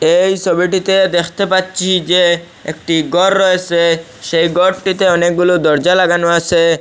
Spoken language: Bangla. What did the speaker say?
এই ছবিটিতে দেখতে পাচ্ছি যে একটি গর রয়েসে সেই গরটিতে অনেকগুলো দরজা লাগানো আছে।